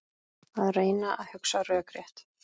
Að reyna að hugsa rökrétt